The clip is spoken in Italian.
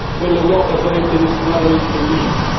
Quell'Europa sarebbe destinata al declino.